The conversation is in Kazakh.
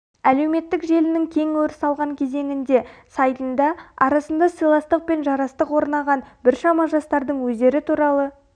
әлеуметтік желінің кең өріс алған кезеңінде сайтында арасында сыйластық пен жарастық орнаған біршама жастардың өздері туралы